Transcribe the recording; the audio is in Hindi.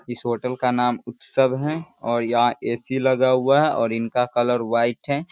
इस होटल का नाम उत्सव है और यहाँ ए.सी. लगा हुआ है और इनका कलर व्हाइट है।